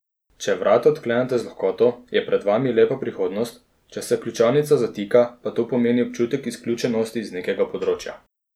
Če vrata odklenete z lahkoto, je pred vami lepa prihodnost, če se ključavnica zatika, pa to pomeni občutek izključenosti z nekega področja.